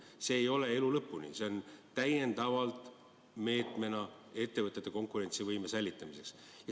See ei jää nii elu lõpuni, see on täiendav meede ettevõtete konkurentsivõime säilitamiseks.